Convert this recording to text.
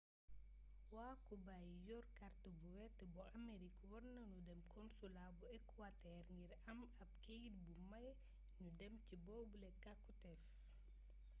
waa kuba yi yor kàrt bu wert bu amerig war nanu dem konsulaa bu ekuwatër ngir am ab keyt buy may nu dem ci boobule càkuteef